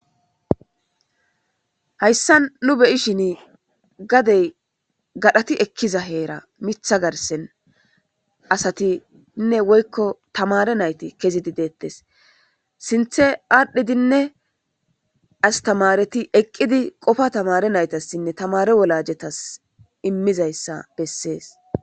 hayssa nu be'shin gadey gadhati ekkiza heeran mitha garsen asatinne woykko tamare nayti kezidi deettes sinthe aadhdhidinne astamareti eqqidi qofa tamare naytassinne tamare wolajetas immizayssa bessees.